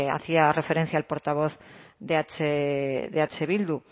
hacía referencia el portavoz de eh bildu